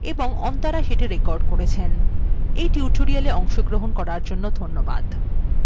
আমি anirban স্বাক্ষর করলাম যোগ দেওয়ার জন্য ধন্যবাদ